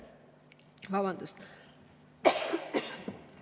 Vabandust!